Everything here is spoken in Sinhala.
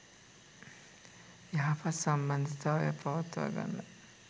යහපත් සම්බන්ධතාවයක් පවත්වාගන්න